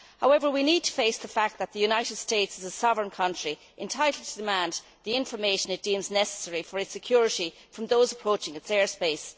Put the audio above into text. However, we need to face the fact that the United States is a sovereign country entitled to demand the information it deems necessary for its security from those approaching its airspace.